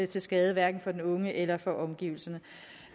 til skade hverken for den unge eller for omgivelserne